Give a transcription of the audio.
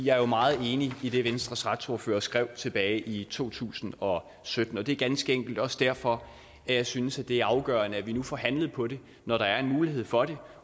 jeg er jo meget enig i det venstres retsordfører skrev tilbage i to tusind og sytten og det er ganske enkelt også derfor at jeg synes at det er afgørende at vi nu får handlet på det når der er en mulighed for det